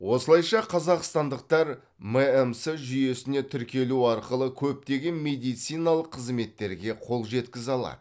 осылайша қазақстандықтар мәмс жүйесіне тіркелу арқылы көптеген медициналық қызметтерге қол жеткізе алады